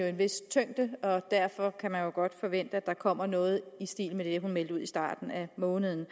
en vis tyngde og derfor kan man godt forvente at der kommer noget i stil med det hun meldte ud i starten af måneden